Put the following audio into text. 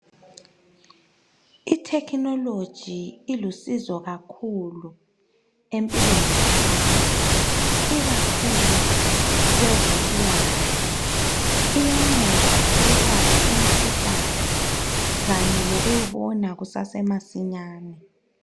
i technology ilusizo kakhulu empilweni zabantu ikakhulu kwezempilakahle iyanceda ukwelapha imikhuhlane kanye lokuyibona kusase masinyane